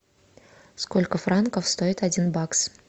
сколько франков стоит один бакс